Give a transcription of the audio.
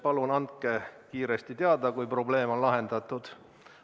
Palun andke kiiresti teada, kui probleem on lahendatud.